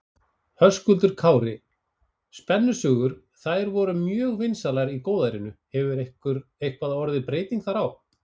Höskuldur Kári: Spennusögur, þær voru mjög vinsælar í góðærinu, hefur eitthvað orðið breyting þar á?